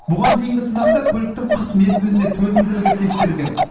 бұған дейінгі сынақта көліктің қыс мезгіліне төзімділігі тексерілген